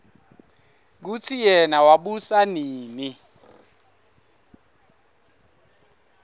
kutsi yena wabusa nini